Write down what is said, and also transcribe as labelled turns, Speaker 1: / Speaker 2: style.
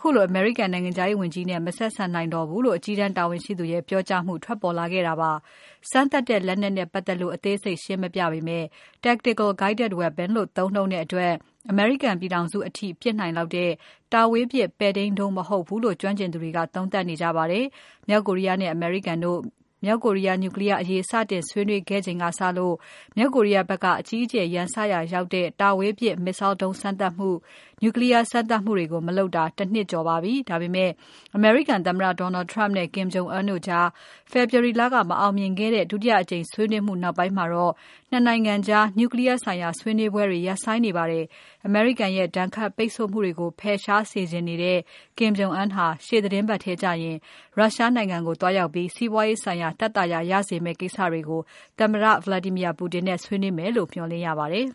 Speaker 1: ခုလို အမေရိကန် နိုင်ငံခြားရေးဝန်ကြီးနဲ့ မဆက်ဆံနိုင်တော့ဘူးလို့ အကြီးတန်းတာဝန်ရှိသူရဲ့ ပြောကြားမှုထွက်ပေါ်လာခဲ့ပါတယ်။ စမ်းသပ်တဲ့ လက်နက်နဲ့ပတ်သက်လို့ အသေးစိတ်ရှင်းမပြပေမဲ့ “Tactical guided weapon” လို့သုံးနှုန်းတဲ့အတွက် အမေရိကန်ပြည်ထောင်စု အထိပစ်နိုင်တဲ့ တာဝေးပစ်ပဲ့ထိန်းဒုံးမဟုတ်ဘူးလို့ ကျွမ်းကျင်သူတွေက သုံးသပ်နေကြပါတယ်။ မြောက်ကိုရီးယားနဲ့ အမေရိကန်တို့ မြောက်ကိုရီးယား နျူကလီးယား အရေးစတင်ဆွေးနွေးခဲ့ချိန်ကစလို့ မြောက်ကိုရီးယားဖက်က အကြီးကျယ်ရန်စရာရောက်တဲ့ တာဝေးပစ် Missile ဒုံးစမ်းသပ်မှု၊ နျူကလီးယား စမ်းသပ်မှုတွေကို မလုပ်တာ ၁ နှစ်ကျော်ပါပြီ။ ဒါပေမဲ့ အမေရိကန်သမ္မတ Donald Trump နဲ့ Kim Jong Un တို့ကြား ဖေဖော်ဝါရီ လက မအောင်မြင်ခဲ့တဲ့ ဒုတိယအကြိမ်ဆွေးနွေးမှုနောက်ပိုင်းမှာတော့ ၂ နိုင်ငံကြား နျူကလီးယား ဆိုင်ရာဆွေးနွေးပွဲတွေ ရပ်ဆိုင်းနေပါတယ်။ အမေရိကန်ရဲ့ ဒဏ်ခတ်ပိတ်ဆို့မှုတွေကို ဖယ်ရှားစေချင်နေတဲ့ Kim Jong Un ဟာရှေ့သီတင်းပတ်ထဲကျရင် ရုရှားနိုင်ငံကိုသွားရောက်ပြီး စီးပွားရေးဆိုင်ရာ သက်သာရာရစေမယ့်ကိစ္စတွေကို သမ္မတ Vladimir Putin နဲ့ဆွေးနွေးမယ်လို့ မျှော်လင့်ရပါတယ်။